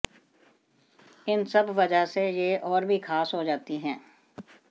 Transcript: इन सब वजह से यह और भी खास हो जाती है